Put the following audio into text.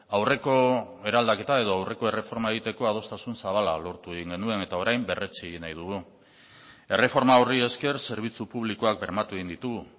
aurreko eraldaketa edo aurreko erreforma egiteko adostasun zabala lortu egin genuen eta orain berretsi egin nahi dugu erreforma horri esker zerbitzu publikoak bermatu egin ditugu